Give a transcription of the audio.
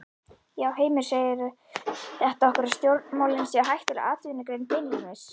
Heimir: Segir þetta okkur að stjórnmálin eru hættuleg atvinnugrein beinlínis?